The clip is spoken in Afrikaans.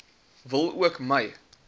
wil ook my